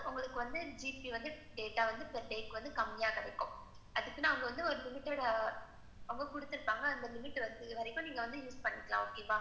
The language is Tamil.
உங்களுக்கு GB வந்து, data வந்து per day வந்து கம்மியா கிடைக்கும். அதுக்கு அவங்க ஒரு limit அவங்க குடுத்துருப்பாங்க, அந்த limit முடியறவரைக்கும் நீங்க வந்து use பன்னிக்கலாம், okay வா?